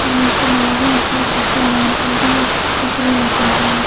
और नीचे मॉल है उसमे काफी लाइट जल रही हे और कुछ कपडे लगे हुए हैं।